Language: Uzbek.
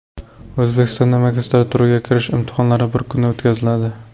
O‘zbekistonda magistraturaga kirish imtihonlari bir kunda o‘tkaziladi.